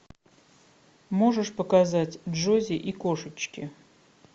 можешь показать джози и кошечки